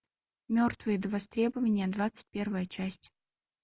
мертвые до востребования двадцать первая часть